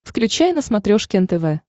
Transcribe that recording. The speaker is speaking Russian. включай на смотрешке нтв